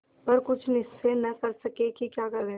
पर कुछ निश्चय न कर सके कि क्या करें